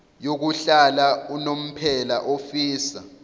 yokuhlala unomphela ofisa